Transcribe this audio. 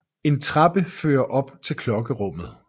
En trappe fører op til klokkerummet